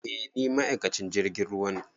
Eh ni ma'aikacin jirgin ruwa ne